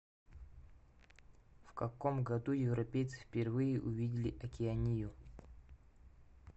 в каком году европейцы впервые увидели океанию